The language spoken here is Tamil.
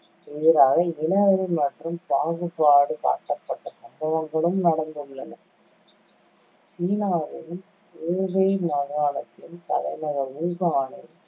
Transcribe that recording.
எதிராக இனவெறி மற்றும் பாகுபாடு காட்டப்பட்ட சம்பவங்களும் நடந்துள்ளன சீனாவின், ஊபேய் மாகாணத்தின் தலைநகர் ஊகானில்